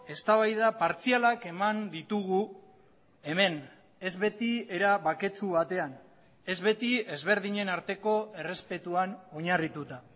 eztabaida partzialak eman ditugu hemen ez beti era baketsu batean ez beti ezberdinen arteko errespetuan oinarrituta